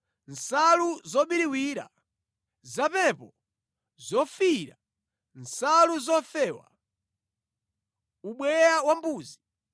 nsalu zobiriwira, zapepo, zofiira, nsalu zofewa; ubweya wambuzi;